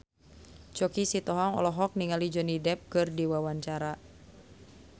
Choky Sitohang olohok ningali Johnny Depp keur diwawancara